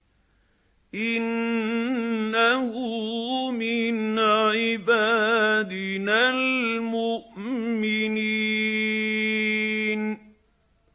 إِنَّهُ مِنْ عِبَادِنَا الْمُؤْمِنِينَ